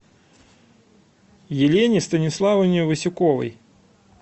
елене станиславовне васюковой